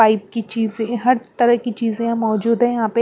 pipe की चीजे हर तरह की चीजें यहाँ मौजूद हैं यहाँ पे --